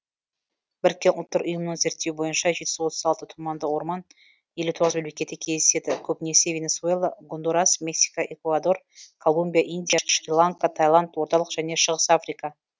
біріккен ұлттар ұйымының зерттеуі бойынша жеті жүз отыз алты тұманды орман елу тоғыз мемлекетте кездеседі көбінесе венесуэла гондурас мексика экуадор колумбия индия шри ланка тайланд орталық және шығыс африка